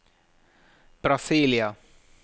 Brasília